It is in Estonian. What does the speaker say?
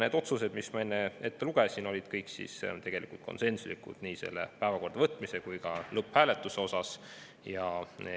Need otsused, mis ma enne ette lugesin – nii päevakorda võtmine kui ka selle lõpphääletus – olid konsensuslikud.